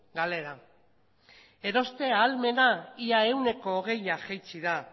galera eroste ahalmena ia ehuneko hogeia jaitsi da